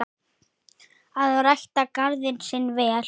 Að rækta garðinn sinn vel.